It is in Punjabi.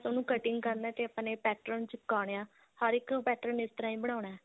ਉਹਨੂੰ cutting ਕਰਨਾ ਤੇ ਆਪਾਂ ਨੇ pattern ਚਿਪਕਾਨੇ ਆ ਹਰ ਇੱਕ pattern ਇਸ ਤਰ੍ਹਾਂ ਹੀ ਬਣਾਉਣਾ